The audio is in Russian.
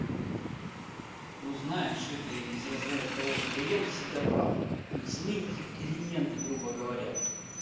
ну знаешь это из разряда того клиент всегда прав то есть мы их клиенты грубо говоря